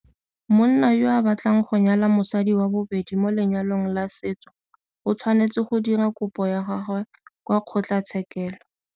Monna yo a batlang go nyala mosadi wa bobedi mo lenyalong la setso o tshwanetse go dira kopo ya gagwe kwa kgotlatshekelo.